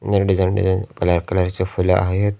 अनेक design design colour colour ची फुलं आहेत.